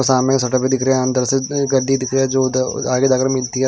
और सामने शटर भी दिख रहे हैं अंदर से एक गाड़ी दिख रही है जो उधर आगे जा के मिलती है।